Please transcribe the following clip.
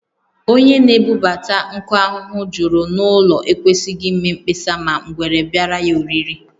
Onye na-ebubata nkụ ahụhụ juru n’ụlọ ekwesịghị ime mkpesa ma ngwere biara ya oriri